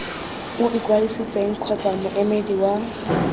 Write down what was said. o ikwadisitseng kgotsa moemedi wa